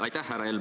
Aitäh!